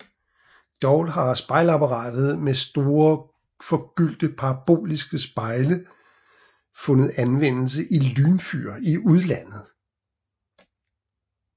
Dog har spejlapparater med store forgyldte parabolske spejle fundet anvendelse i lynfyr i udlandet